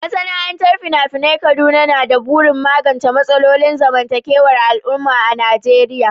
Masana'antar fina-finan Kaduna na da burin magance matsalolin zamantakewar al'umma a Najeriya